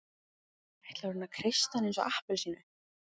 Ætlar hún að kreista hann eins og appelsínu?